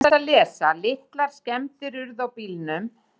Litlar skemmdir urðu á bílnum.